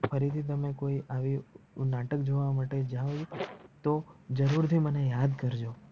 ફરીથી તમે કોઈ આવું નાટક જોવા માટે જાવ તો જરૂર થી મને યાદ કરજો.